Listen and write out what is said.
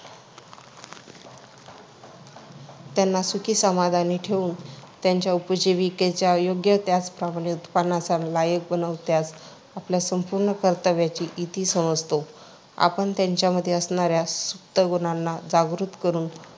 त्यांना सुखीसमाधानी ठेवून त्यांच्या उपजीविकेच्या योग्य त्याचप्रमाणे उत्पन्नाच्या लायक बनवण्यातच आपल्या संपूर्ण कर्तव्याची इती समजतो. आपण त्यांच्यामध्ये असणाऱ्या सुप्त गुणांना जागृत करून